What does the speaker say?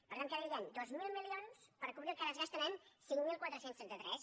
per tant quedarien dos mil milions per cobrir el que ara es gasten amb cinc mil quatre cents i trenta tres